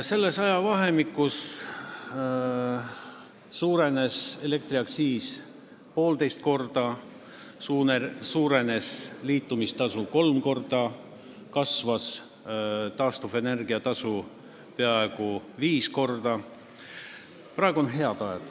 Selles ajavahemikus suurenes elektriaktsiis poolteist korda, liitumistasu kolm korda ja taastuvenergia tasu peaaegu viis korda.